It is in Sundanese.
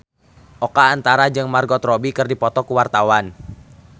Oka Antara jeung Margot Robbie keur dipoto ku wartawan